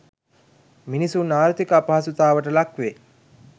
මිනිසුන් ආර්ථික අපහසුතාවට ලක් වේ.